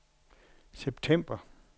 september